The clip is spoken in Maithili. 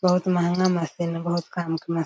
बहुत महंगा मशीन हेय बहुत काम का मशीन --